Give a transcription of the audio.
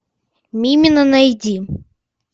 мимино найди